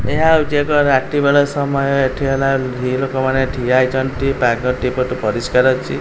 ଏହା ହେଉଚି ଏକ ରାତି ବେଳ ସମୟ ଏଠି ହେଲା ଲୋକମାନେ ଠିଆ ହେଇଚନ୍ତି ପାଗଟି ପରିଷ୍କାର ଅଛି।